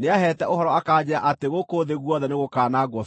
nĩaheete ũhoro akanjĩĩra atĩ gũkũ thĩ guothe nĩgũkwanangwo biũ.